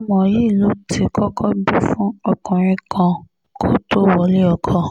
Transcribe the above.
ọmọ yìí ló ti kọ́kọ́ bí fún ọkùnrin kan kó tóó wọlé ọkọ